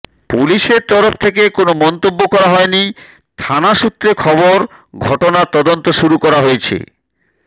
পুলিশের তরফ থেকে কোনও মন্তব্য করা হয়নি থানা সূত্রে খবর ঘটনার তদন্ত শুরু করা হয়েছে